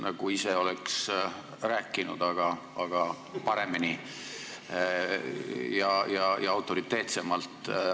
Nagu ma ise oleks rääkinud, aga paremini ja autoriteetsemalt.